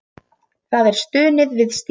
Það er stunið við stýrið.